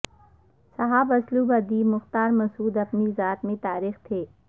صاحب اسلوب ادیب مختار مسعود اپنی ذات میں تاریخ تھے